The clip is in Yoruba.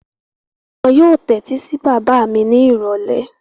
Wọn yóò tẹ́tí sí bàbá mi ni ìrọ̀lẹ́.